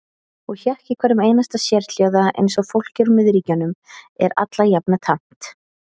Og hékk í hverjum einasta sérhljóða eins og fólki úr miðríkjunum er allajafna tamt.